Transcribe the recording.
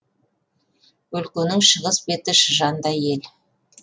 өлкенің шығыс беті шыжандай ел